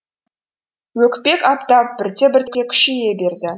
өкпек аптап бірте бірте күшейе берді